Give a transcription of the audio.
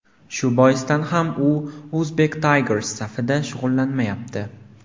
Shu boisdan ham u Uzbek Tigers safida shug‘ullanmayapti.